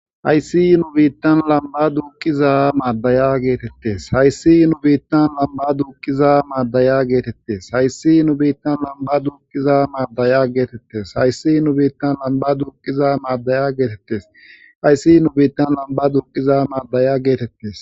Hayssi nu biittan lamba duuqiza maaddaya geetettes hayssi nu biittan lamba duuqiza maaddaya geetettes hayssi nu biittan lamba duuqiza maaddaya geetettes hayssi nu biittan lamba duuqiza maaddaya geetettes hayssi nu biittan lamba duqiza maaddaya geetettes.